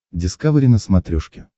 дискавери на смотрешке